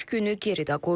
Beş günü geridə qoyduq.